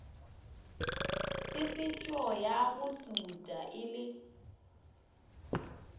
tshepetšoya go souta e le